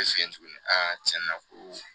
fɛ yen tuguni aa cɛn na ko